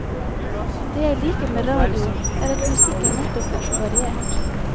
Det jeg liker med radio, er at musikken nettopp er så variert.